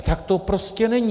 A tak to prostě není!